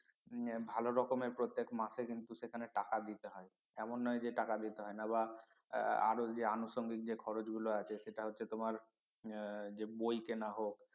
হম ভালো রকমের প্রত্যেক মাসে কিন্তু সেখানে টাকা দিতে হয় এমন নয় যে টাকা দিতে হয় না বা আরো যে আনুষঙ্গিক যে খরচ গুলো আছে সেটা হচ্ছে তোমার হম যে বই কেনা হোক